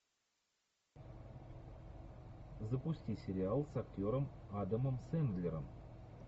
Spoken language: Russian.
запусти сериал с актером адамом сэндлером